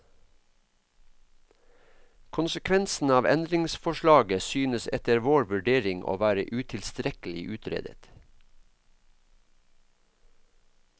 Konsekvensene av endringsforslaget synes etter vår vurdering å være utilstrekkelig utredet.